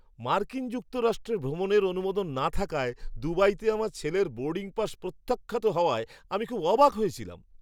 মার্কিন যুক্তরাষ্ট্রে ভ্রমণের অনুমোদন না থাকায় দুবাইতে আমার ছেলের বোর্ডিং পাস প্রত্যাখ্যাত হওয়ায় আমি খুব অবাক হয়েছিলাম।